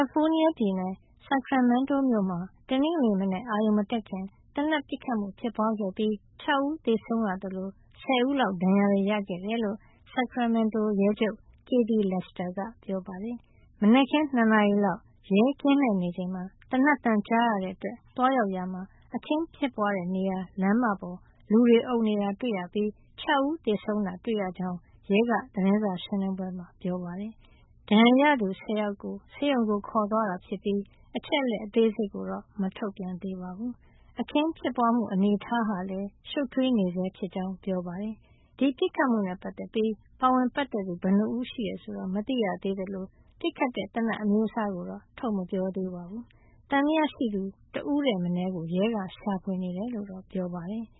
ီဖိုးနီးယားပြည်နယ် Sacramento မြို့မှာ တနင်္ဂနွေနေ့မနက် အရုဏ်မတက်ခင် သေနတ်ပစ်ခတ်မှု ဖြစ်ပွားခဲ့ပြီး ၆ ဦးသေဆုံးရသလို ၁၀ ဦးလောက် ဒဏ်ရာတွေ ရခဲ့ကြတယ်လို့ Sacramento ရဲချုပ် Kathy Lester က ပြောပါတယ်။ မနက် ၂ နာရီလောက် ရဲက ကင်းလှည့်နေချိန် သေနတ်သံကြားခဲ့ရတဲ့အတွက် သွားရောက်ရာမှာ အခင်းဖြစ်ပွားတဲ့နေရာ လမ်းမပေါ် လူတွေအုံနေတာတွေ့ရပြီး ၆ ဦး သေဆုံးတာ တွေ့ရကြောင်း ရဲက သတင်းစာရှင်းလင်းပွဲမှာ ပြောပါတယ်။ ဒဏ်ရာရသူ ၁၀ ယောက်ကို ဆေးရုံခေါ်သွားတာဖြစ်ပြီး အချက်အလက် အသေးစိတ်ကို မထုတ်ပြန်သေးပါဘူး။ အခင်းဖြစ်ပွားမှု အနေထားဟာလည်း ရှုပ်ထွေးနေဆဲဖြစ်ကြောင်း ပြောပါတယ်။ ဒီပစ်ခတ်မှုနဲ့ ပတ်သက်ပြီး ပါဝင်ပတ်သက်သူ ဘယ်နှစ်ဦးရှိတယ်ဆိုတာ မသိရသေးသလို ပစ်ခတ်တဲ့ သေနတ်အမျိုးအစားကိုတော့ ထုတ်မပြောသေးပါဘူး။ သံသယရှိသူ ၁ ဦးထက်မနည်းကို ရဲက ရှာဖွေနေတယ်လို့ ပြောပါတယ်။